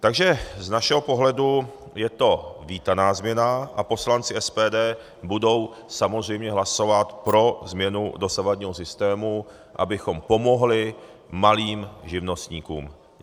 Takže z našeho pohledu je to vítaná změna a poslanci SPD budou samozřejmě hlasovat pro změnu dosavadního systému, abychom pomohli malým živnostníkům.